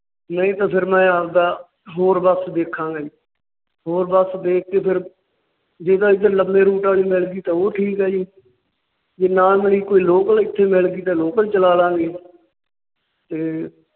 ਨਹੀਂ ਤਾਂ ਫਿਰ ਮੈਂ ਆਪਦਾ ਹੋਰ ਬੱਸ ਚ ਦੇਖਾਂਗਾ ਜੀ। ਹੋਰ ਬੱਸ ਦੇਖ ਕੇ ਫਿਰ ਜੇ ਤਾਂ ਇੱਧਰ ਲੰਬੇ ਰੂਟ ਵਾਲੀ ਮਿਲ ਗਈ ਤਾਂ ਉਹ ਠੀਕ ਹੈ ਜੀ। ਜੇ ਨਾ ਮਿਲੀ ਕੋਈ ਲੋਕਲ ਇੱਥੇ ਮਿਲ ਗਈ ਤੇ ਲੋਕਲ ਚਲਾ ਲਵਾਂਗੇ ਤੇ